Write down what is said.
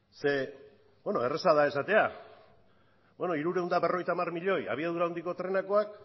zeren bueno erreza da esatea hirurehun eta berrogeita hamar milioi abiadura handiko trenekoak